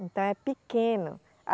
Então é pequeno.